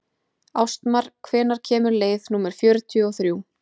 Ástmar, hvenær kemur leið númer fjörutíu og þrjú?